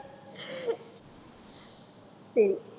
சரி